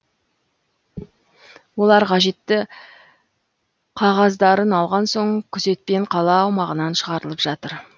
олар қажетті қағаздарын алған соң күзетпен қала аумағынан шығарылып жатыр